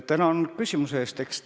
Tänan küsimuse eest!